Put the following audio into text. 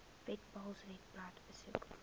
webpals webblad besoek